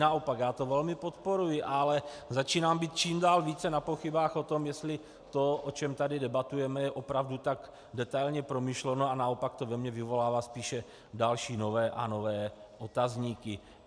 Naopak, já to velmi podporuji, ale začínám být čím dál více na pochybách o tom, jestli to, o čem tady debatujeme, je opravdu tak detailně promyšleno, a naopak to ve mně vyvolává spíše další, nové a nové otazníky.